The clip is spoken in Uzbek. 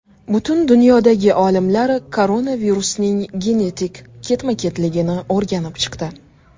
Butun dunyodagi olimlar koronavirusning genetik ketma-ketligini o‘rganib chiqdi.